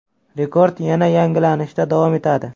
Rekord yana yangilanishda davom etadi.